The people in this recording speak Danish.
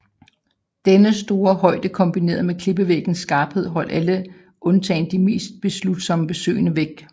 Denne store højde kombineret med klippevæggenes skarphed holdt alle undtagen de mest beslutsomme besøgende væk